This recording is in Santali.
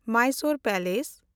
ᱢᱟᱭᱥᱳᱨ ᱯᱮᱞᱮᱥ